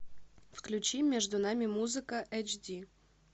включи между нами музыка эйч ди